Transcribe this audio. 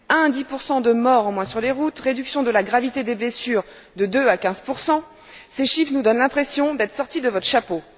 De 1 à 10 de morts en moins sur les routes, réduction de la gravité des blessures de 2 à 15 ces chiffres nous donnent l'impression d'être sortis de votre chapeau.